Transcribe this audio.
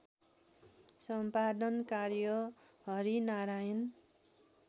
सम्पादन कार्य हरिनारायण